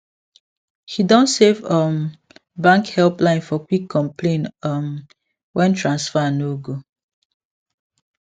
he don save um bank helpline for quick complain um when transfer no go